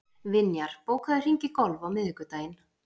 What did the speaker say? Vinjar, bókaðu hring í golf á miðvikudaginn.